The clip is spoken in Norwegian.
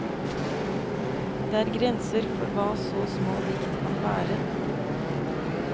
Det er grenser for hva så små dikt kan bære.